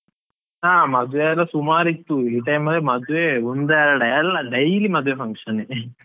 ಹಾ ಮದ್ವೆ ಎಲ್ಲಾ ಸುಮಾರ್ ಇತ್ತು, ಈ time ಅಲ್ಲಿ ಮದ್ವೆ ಒಂದಾ ಎರ್ಡ, ಎಲ್ಲಾ daily ಮದ್ವೆ function ಯೆ .